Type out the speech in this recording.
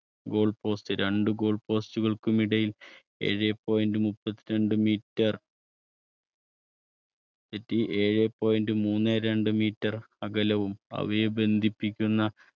goal post രണ്ട് goal post കൾക്കും ഇടയിൽ ഏഴേ point മുപ്പത്തിരണ്ട് meter തെറ്റി ഏഴേ point മൂന്നേ രണ്ട് meter അകലവും അവയെ ബന്ധിപ്പിക്കുന്ന